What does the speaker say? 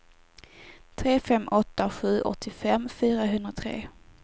tre fem åtta sju åttiofem fyrahundratre